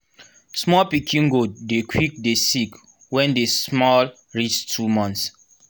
small pikin goat dey quick dey sick wen dey small reach 2months